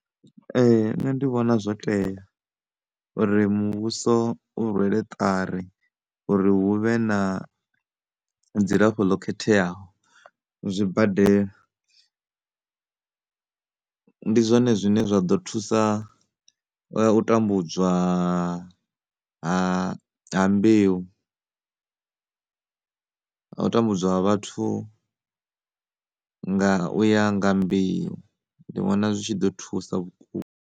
Nṋe ndi vhona zwo tea uri muvhuso u rwela ṱari uri hu vhe na dzilafho ḽo khetheaho zwibadela ndi zwone zwine zwa ḓo thusa u tambudzwa haaa, ha, ha mbeu na u tambudzwa ha vhathu nga u ya nga mbeu ndi vhona zwi tshi ḓo thusa vhukuma.